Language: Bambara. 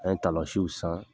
An ye san